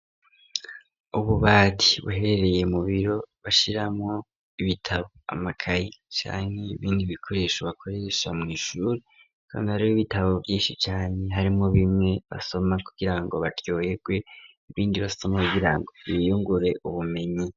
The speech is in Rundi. Ububati buherereye mubiro bashiramwo ibitabo ,amakayi, canke bindi bikoresho bakoresha mw' ishuri, Kandi hari y'ibitabo Vyinshi cane, harimwo bimwe basoma kukirango baryoyegwe, ibindi basoma kugirango biyungure ubumenyi.